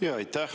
Aitäh!